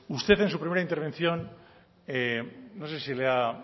usted en su primera intervención no sé si le ha